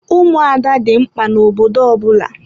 Ụmụada dị mkpa na obodo ọbụla.